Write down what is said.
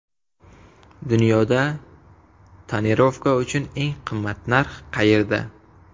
Dunyoda tonirovka uchun eng qimmat narx qayerda?.